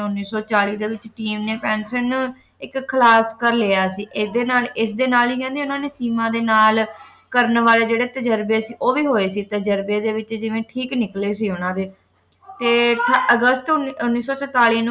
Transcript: ਉੱਨੀ ਸੌ ਚਾਲੀ ਦੇ ਵਿੱਚ team ਨੇ ਪੇਂਸਿਲੀਨ ਨੂੰ ਇੱਕ ਖਲਾਕ ਕਰ ਲਿਆ ਸੀ ਇਸਦੇ ਨਾਲ ਇਸਦੇ ਨਾਲ ਹੀ ਕਹਿੰਦੇ ਉਨ੍ਹਾਂ ਨੇ ਸੀਮਾ ਦੇ ਨਾਲ ਕਰਨ ਵਾਲੇ ਜਿਹੜੇ ਤਜ਼ਰਬੇ ਸੀ ਉਹ ਵੀ ਹੋਏ ਸੀ ਤਜ਼ਰਬੇ ਦੇ ਵਿੱਚ ਜਿਵੇਂ ਠੀਕ ਨਿਕਲੇ ਸੀ ਉਨ੍ਹਾਂ ਦੇ ਤੇ ਅਗਸਤ ਉੱਨੀ ਸੌ ਸੰਤਾਲੀ ਨੂੰ